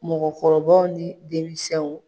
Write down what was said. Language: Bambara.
Mɔgɔkɔrɔbaw ni denmisɛnw